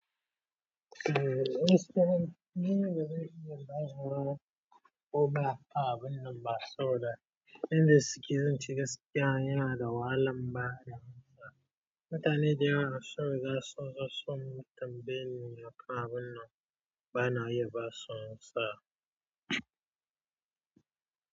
Eh Instagram, ni gaba daya ban yi wahala kowa fahimtar abin nan ba saboda inda suke zanta gaskiya yana da wahalan fahimtsa. Mutane da yawa sun sassa sosun tambayi me ya faru wannan bana iya basu masa.